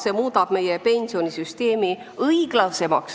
See seadus muudab meie pensionisüsteemi igal juhul õiglasemaks.